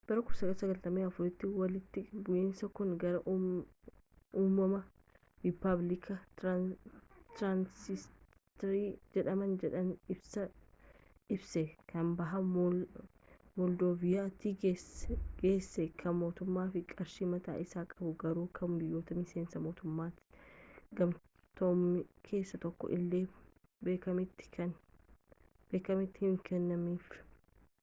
bara 1994tti walitti bu'iinsi kun gara uumamuu riippaabilikii tiraansinistriyaa jedhama jedhee labse kan baha moldoovaatti geesse kan mootummaa fi qarshii mataa isii qabdu garuu kan biyyoota miseensa mootummoota gamtoomanii keessaa tokkoon illee beekamtiin hin kennaminiif